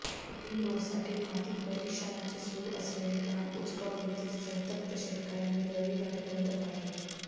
रिंगरोडसाठी माती परीक्षणाचे सुरू असलेले काम उचगाव येथील संतप्त शेतकर्यांनी रविवारी बंद पाडले